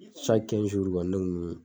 kɔni ne kun be.